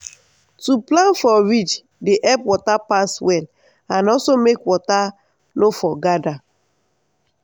to plant for ridge dey help water pass well and also help make water no for gather